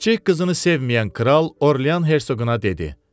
Kiçik qızını sevməyən kral Orliyan Herseqona dedi.